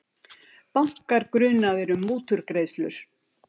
Bankar grunaðir um mútugreiðslur